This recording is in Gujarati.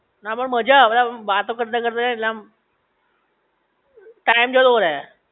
હા પણ મજા આવે આમ વાતો કરતાં કરતાં એટલે આમ ટાઇમ જતો રે